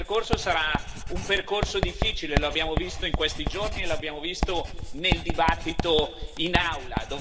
Il suo percorso sarà un percorso difficile, lo abbiamo visto in questi giorni e lo abbiamo visto nel dibattito in Aula.